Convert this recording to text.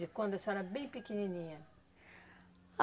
De quando a senhora era bem pequenininha.